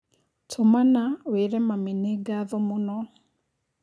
tũmana wĩĩre mami nĩ ngatho mũno